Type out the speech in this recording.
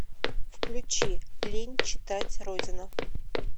включи лень читать родина